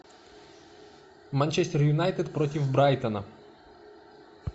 манчестер юнайтед против брайтона